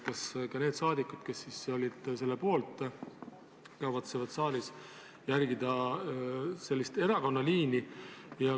Kas ka need saadikud, kes olid selle poolt, kavatsevad saalis järgida sellist erakonna liini?